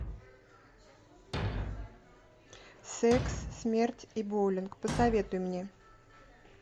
секс смерть и боулинг посоветуй мне